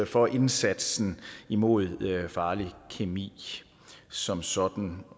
for indsatsen mod farlig kemi som sådan